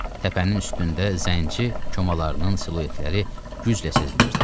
Təpənin üstündə zənci komalarının siluetləri güclə sezilirdi.